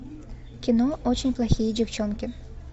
кино очень плохие девчонки